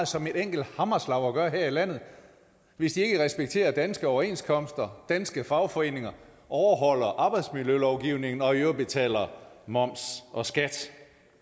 som et enkelt hammerslag at gøre her i landet hvis de ikke respekterer danske overenskomster danske fagforeninger overholder arbejdsmiljølovgivningen og i øvrigt betaler moms og skat